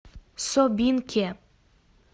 собинке